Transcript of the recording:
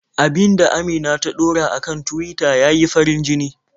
Abin da Amina ta ɗora a kan Tuwita ya yi farin-jini.